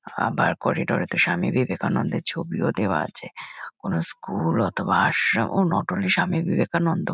আবার করিডোরে তো স্বামী বিবেকানন্দের ছবিও দেওয়া আছে কোনো স্কুল অথবা আশ্রম ও নট অনলি স্বামী বিবেকানন্দ।